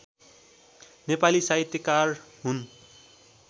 नेपाली साहित्यकार हुन्